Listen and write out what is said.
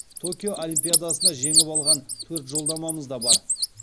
токио олимпиадасына жеңіп алған төрт жолдамамыз да бар